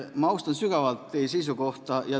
Ma austan sügavalt teie seisukohta.